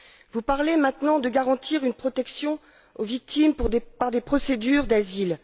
Vous parlez maintenant de garantir une protection aux victimes par le biais de procédures d'asile.